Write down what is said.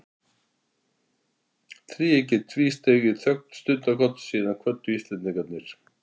Þríeykið tvísteig í þögn stundarkorn, síðan kvöddu Íslendingarnir.